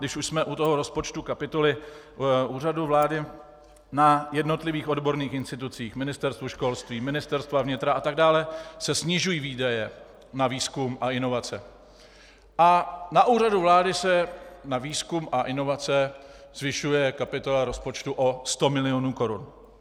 Když už jsme u toho rozpočtu kapitoly Úřadu vlády, na jednotlivých odborných institucích, Ministerstvu školství, Ministerstvu vnitra a tak dále se snižují výdaje na výzkum a inovace a na Úřadu vlády se na výzkum a inovace zvyšuje kapitola rozpočtu o 100 milionů korun.